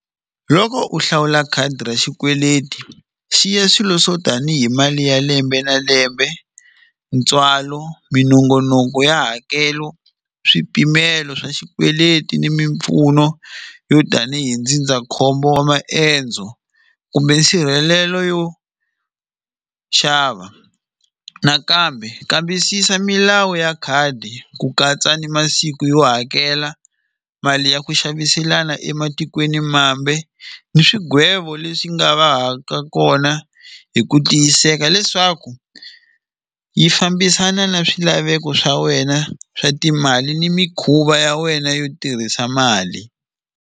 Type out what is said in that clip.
Loko u hlawula khadi ra xikweleti xi ya swilo swo tanihi mali ya lembe na lembe ntswalo minongonoko ya hakelo swipimelo swa xikweleti ni mimpfuno yo tanihi ndzindzakhombo wa maendzo kumbe nsirhelelo yo xava nakambe kambisisa milawu ya khadi ku katsa ni masiku yo hakela mali ya ku xaviselana ematikweni mambe ni swigwevo leswi nga va ha ka kona hi ku tiyiseka leswaku yi fambisana na swilaveko swa wena swa timali ni mikhuva ya wena yo tirhisa mali.